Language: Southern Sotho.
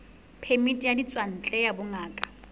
phemiti ya ditswantle ya bongaka